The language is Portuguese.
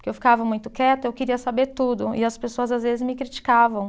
porque eu ficava muito quieta, eu queria saber tudo, e as pessoas às vezes me criticavam.